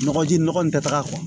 Nɔgɔji nɔgɔ in tɛ taga